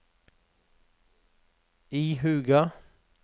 ihuga